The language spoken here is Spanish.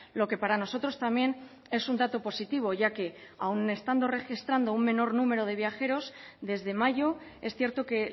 lo que para nosotros también es un dato positivo ya que aun estando registrando un menor número de viajeros desde mayo es cierto que